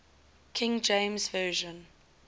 king james version